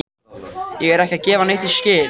Ég er ekki að gefa neitt í skyn.